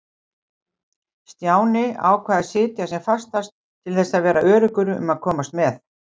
Stjáni ákvað að sitja sem fastast til þess að vera öruggur um að komast með.